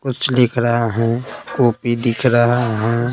कुछ लिख रहा हूं कॉपी दिख रहा है।